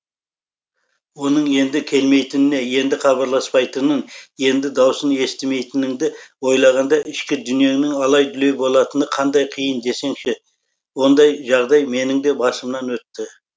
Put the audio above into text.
оның енді келмейтініне енді хабарласпайтынын енді даусын естімейтініңді ойлағанда ішкі дүниеңнің алай дүлей болатыны қандай қиын десеңші ондай жағдай менің де басымнан өтті